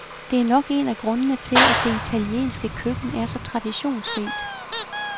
Det er nok en af grundene til, at det italienske køkken er så traditionsrigt.